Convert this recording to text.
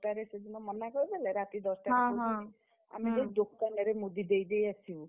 ଟାରେ ସେଦିନ ମନା କରିଦେଲେ ରାତି ଦଶଟାରେ କହୁଛନ୍ତି ଆମେ ଯାଇ ଦୋକାନରେ ମୁଦି ଦେଇଦେଇ ଆସିବୁ।